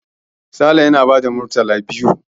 Sale yana ba da murtala biyu.